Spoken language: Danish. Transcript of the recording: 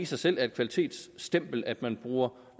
sig selv er et kvalitetsstempel at man bruger